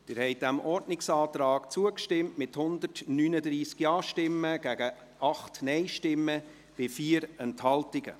Sie haben diesem Ordnungsantrag zugestimmt, mit 139 Ja- gegen 8 Nein-Stimmen bei 4 Enthaltungen.